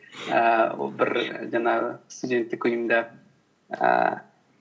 ііі ол бір і жаңағы студенттік үйымда ііі